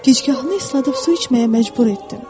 Gicgahını isladıb su içməyə məcbur etdim.